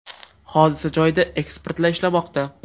Hodisa joyida ekspertlar ishlamoqda.